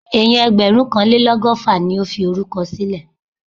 Èèyàn ẹgbẹ̀rúnkanlélọ́gọ́fà ni ó fi orúkọ sílẹ̀